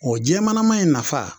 O jɛmanama in nafa